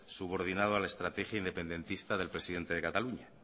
subordinado a la estrategia independentista del presidente de cataluña